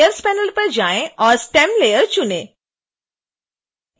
अब layers panel पर जाएं और stem लेयर चुनें